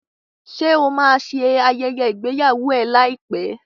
Ṣé o máa ṣe ayẹyẹ ìgbéyàwó ẹ láìpẹ́?